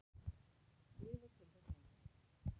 Lifa til þess eins.